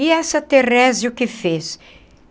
E essa Therese o que fez?